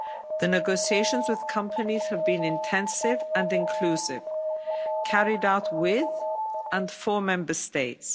The negotiations with companies have been intensive and inclusive, carried out with and for Member States.